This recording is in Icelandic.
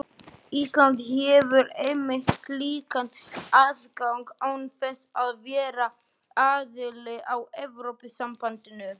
Ísland hefur einmitt slíkan aðgang án þess að vera aðili að Evrópusambandinu.